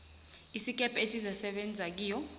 isikebhe esizakusebenza kiyo